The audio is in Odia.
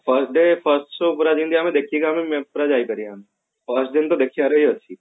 first day first show ପୁରା ଯେମତି ଆମେ ଦେଖିବା try କରିବା ଆମେ first ଦିନ ତ ଦେଖିବାର ହିଁ ଅଛି